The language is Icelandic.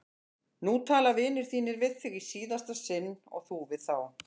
Nú tala vinir þínir við þig í síðasta sinn og þú við þá!